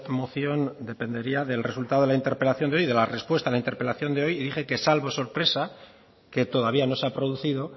moción dependería del resultado de la interpelación de hoy de la respuesta a la interpelación de hoy y dije que salvo sorpresa que todavía no se ha producido